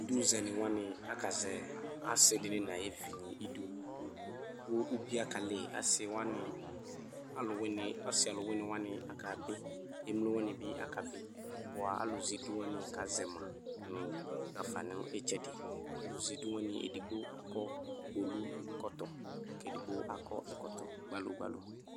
Iduzɛnɩ wanɩ akazɛ asɩ dɩnɩ nʋ ayʋ evinɩ idu kʋ ubiǝ kalɩ Asɩ wanɩ, alʋwɩnɩ, asɩ alʋwɩnɩ wanɩ akabɩ, emlo wanɩ bɩ akabɩ bʋa alʋzɛ idu wanɩ akazɛ ma nʋ ɣa fa nʋ ɩtsɛdɩ Ɔlʋzɛ idu wanɩ edigbo akɔ kpolukɔtɔ kʋ edigbo akɔ ɛkɔtɔ gbalo gbalo